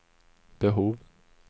behov